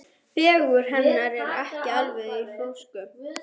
Fegurð hennar er ekki alveg í fókus.